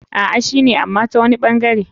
A,shine ama tawani ɓangare.